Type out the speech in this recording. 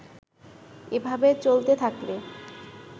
এভাবে চলতে থাকলে